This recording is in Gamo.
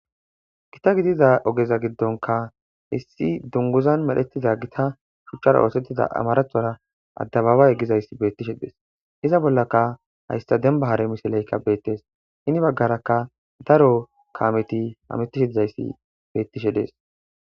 gita gidiza ogeza giddonka issi dunguzan medhettida gita shuchchara oosettida amarathora addababa yeggizayssi beettishe dees iza bollaka haysta demba hare misileykka beettes hini baggarakka daro kaameti amettishe dizayssi bettishe dees